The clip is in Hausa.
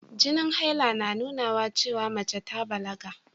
Jinin haila na nunawa cewa mace ta balaga.